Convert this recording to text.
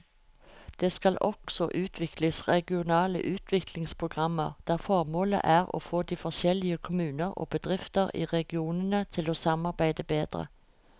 Det skal også utvikles regionale utviklingsprogrammer der formålet er å få de forskjellige kommuner og bedrifter i regionene til å samarbeide bedre.